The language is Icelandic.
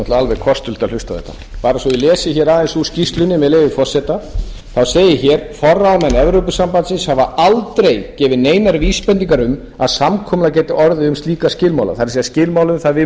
náttúrlega alveg kostulegt að hlusta á þetta bara svo ég lesi aðeins úr skýrslunni með leyfi forseta það segir hér forráðamenn evrópusambandsins hafa aldrei gefið neinar vísbendingar um að samkomulag geti orðið um slíka skilmála það er skilmála um að við